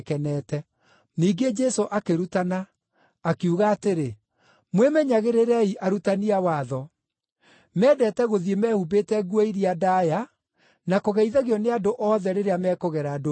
Ningĩ Jesũ akĩrutana, akiuga atĩrĩ, “Mwĩmenyagĩrĩrei arutani a watho. Mendete gũthiĩ mehumbĩte nguo iria ndaaya na kũgeithagio nĩ andũ othe rĩrĩa mekũgera ndũnyũ-inĩ,